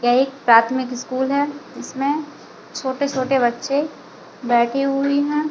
यह एक प्राथमिक स्कूल है इसमें छोटे-छोटे बच्चे बैठी हुई है।